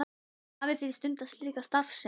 Hafið þið stundað slíka starfsemi?